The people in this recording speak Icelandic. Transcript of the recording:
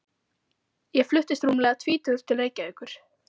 Ég fluttist rúmlega tvítugur til Reykjavíkur.